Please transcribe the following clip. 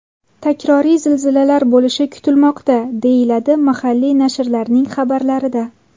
Takroriy zilzilalar bo‘lishi kutilmoqda, deyiladi mahalliy nashrlarning xabarlarida.